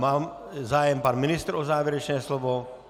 Má zájem pan ministr o závěrečné slovo?